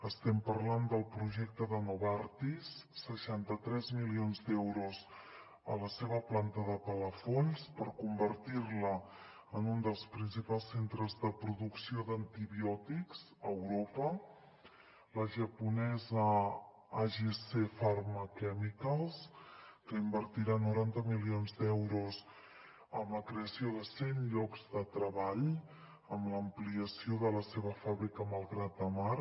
estem parlant del projecte de novartis seixanta tres milions d’euros a la seva planta de palafolls per convertir la en un dels principals centres de producció d’antibiòtics a europa la japonesa agc pharma chemicals que invertirà noranta milions d’euros amb la creació de cent llocs de treball amb l’ampliació de la seva fàbrica a malgrat de mar